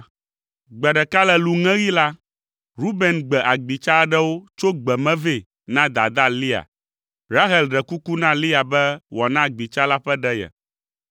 Gbe ɖeka le lũŋeɣi la, Ruben gbe agbitsa aɖewo tso gbe me vɛ na dadaa Lea. Rahel ɖe kuku na Lea be wòana agbitsa la ƒe ɖe ye.